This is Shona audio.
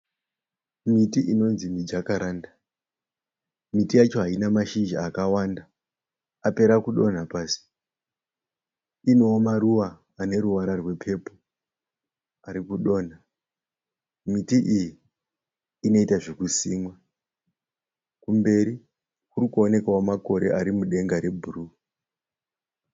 Miti inonzi mijakaranda. Miti yacho haina mashishizha akawanda apera kudonha pasi. Inewo maruva ane ruvara rwepepo ari kudonha. Miti iyi inoita zvokusimwa. Kumberi kuri kuonekwawo makore ari mudenga rebhuru.